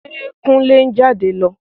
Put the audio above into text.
Ṣe Kúnlé ń jáde lọ?